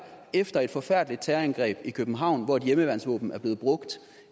efter et forfærdeligt terrorangreb i københavn hvor et hjemmeværnsvåben er blevet brugt